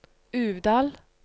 Uvdal